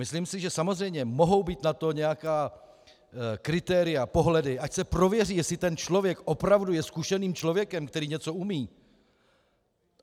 Myslím si, že samozřejmě mohou být na to nějaká kritéria, pohledy, ať se prověří, jestli ten člověk opravdu je zkušeným člověkem, který něco umí.